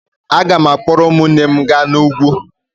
Aga m akpọrọ ụmụnne m gaa n'ugwu.